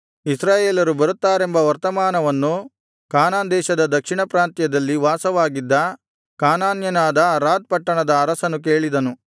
ಇಸ್ರಾಯೇಲರು ಬರುತ್ತಾರೆಂಬ ವರ್ತಮಾನವನ್ನು ಕಾನಾನ್ ದೇಶದ ದಕ್ಷಿಣ ಪ್ರಾಂತ್ಯದಲ್ಲಿ ವಾಸವಾಗಿದ್ದ ಕಾನಾನ್ಯನಾದ ಅರಾದ್ ಪಟ್ಟಣದ ಅರಸನು ಕೇಳಿದನು